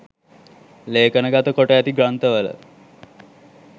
ලේඛනගත කොට ඇති ග්‍රන්ථවල